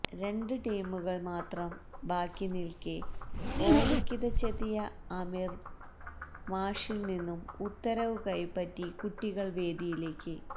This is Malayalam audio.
രണ്ട് ടീമുകള് മാത്രം ബാക്കിനില്ക്കെ ഓടിക്കിതച്ചെത്തിയ ആമിര് മാഷില് നിന്നും ഉത്തരവ് കൈപ്പറ്റി കുട്ടികള് വേദിയിലേക്ക്